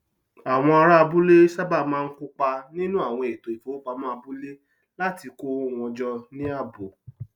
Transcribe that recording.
àwọn ará abúlé sábà máa ń kópa nínú àwọn ètò ìfowópamọ abúlé láti kó owó wọn jọ ní ààbò